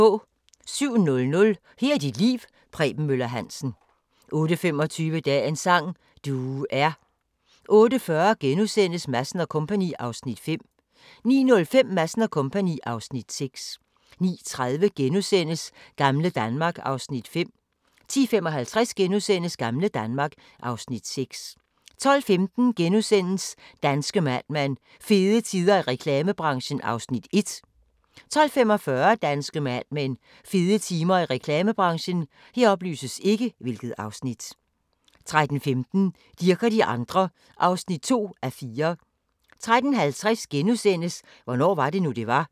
07:00: Her er dit liv – Preben Møller Hansen 08:25: Dagens sang: Du er 08:40: Madsen & Co. (Afs. 5)* 09:05: Madsen & Co. (Afs. 6) 09:30: Gamle Danmark (Afs. 5)* 10:55: Gamle Danmark (Afs. 6)* 12:15: Danske Mad Men: Fede tider i reklamebranchen (Afs. 1)* 12:45: Danske Mad Men: Fede tider i reklamebranchen 13:15: Dirch og de andre (2:4) 13:50: Hvornår var det nu, det var? *